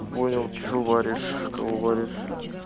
понял что варишь кого варишь